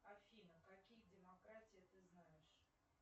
афина какие демократия ты знаешь